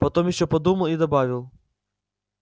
потом ещё подумал и добавил